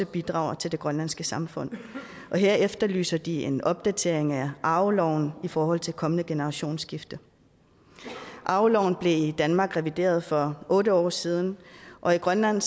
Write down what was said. bidrager til det grønlandske samfund og her efterlyser de en opdatering af arveloven i forhold til et kommende generationsskifte arveloven blev i danmark revideret for otte år siden og i grønland